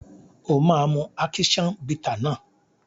O máa mu ákíṣán bità náà.